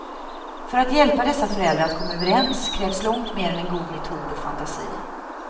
För att hjälpa dessa föräldrar att komma överens, krävs långt mer än en god metod och fantasi.